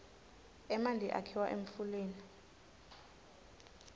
emanti akhiwa emfuleni